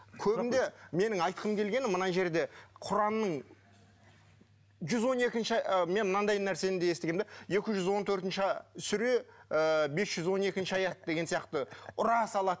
көбінде менің айтқым келгені мына жерде құранның жүз он екінші ы мен мынандай нәрсені де естігенмін де екі жүз он төртінші сүре ы бес жүз он екінші аят деген сияқты ұра салады